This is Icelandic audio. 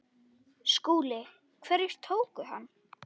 SKÚLI: Hverjir tóku hann?